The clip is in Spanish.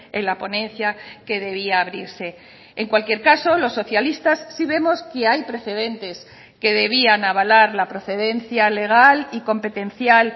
en la ponencia que debía abrirse en cualquier caso los socialistas sí vemos que hay precedentes que debían avalar la procedencia legal y competencial